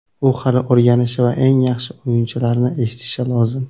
U hali o‘rganishi va eng yaxshi o‘yinchilarni eshitishi lozim.